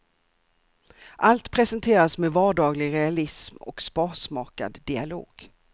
Allt presenteras med vardaglig realism och sparsmakad dialog.